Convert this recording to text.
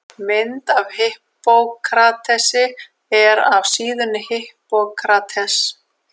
Mynd af Hippókratesi er af síðunni Hippocrates.